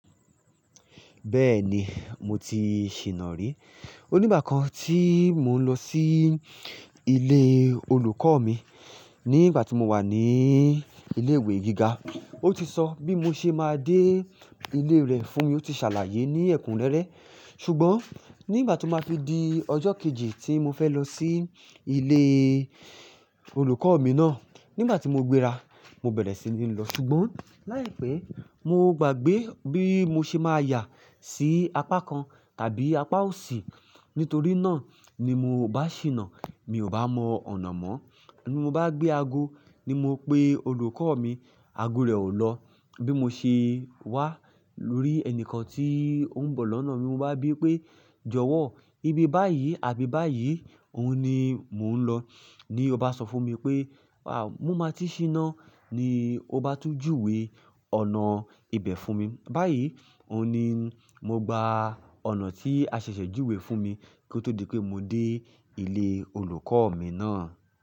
Bẹ́ẹ̀ni, mo ti ṣìná rí. Ó ní ìgbà kan tí mo ń lọ sí ilé olùkọ́ mi ní ìgbà tí mo wà ní ilé ìwé gíga. Ó ti sọ bí mo ṣe máa dé ilé rẹ̀ fún mi, ó ti ṣàlàyé ní ẹ̀kúnrẹ́rẹ́. Ṣùgbọ́n nígbà tí ó máa fi di ọjọ́ kejì tí mo fẹ́ lọ sí ilé olùkọ́ mi náà, nígbà tí mo gbéra, mo bẹ̀rẹ̀ sí ní lọ. Ṣùgbọ́n láìpẹ́, mo gbàgbé bí mo ṣe máa yà sí apá kan tàbí apá òsì. Nítorí náà ni mo bá ṣìná. Mi ò bá mọ ọ̀nà mọ́. Bí mo bá gbé ago, ni mo pe olùkọ́ mi, ago rẹ̀ ò lọ. Bí mo ṣe wá lórí ẹni kan tí ó ń bọ̀ lọ́nà mi, mo bá bí pé "jọ̀wọ́, ibi báyìí àbí báyìí òun ni mò ń lọ?" Ni ó bá sọ fún mi pé, "à, mo máa ti ṣìná" ni ó bá tún júwe ọ̀nà ibẹ̀ fún mi. Báyìí, òun ni mo gba ọ̀nà tí a ṣẹ̀ṣẹ̀ júwe fún mi kí ó tó di pé mo dé ilé olùkọ́ mi náà.